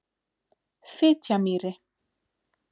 Fitjamýri